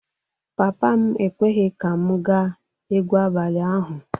Papa m ekweghị ka m gaa egwu abalị ahụ.